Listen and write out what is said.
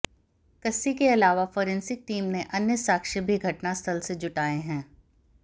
कस्सी के अलावा forensic team ने अन्य साक्ष्य भी घटनास्थल से जुटाए हैं